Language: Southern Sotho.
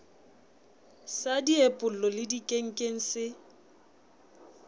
sa diepollo le dikenkeng se